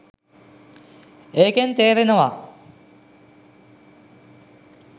ඒකෙන් තේරෙනවා